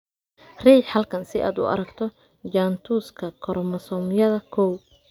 Riix halkan si aad u aragto jaantuska koromosoomyada kow.